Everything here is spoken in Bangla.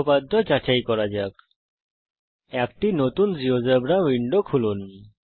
উপপাদ্য যাচাই করা যাক একটি নতুন জীয়োজেব্রা উইন্ডো খুলুন